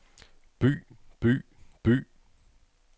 by by by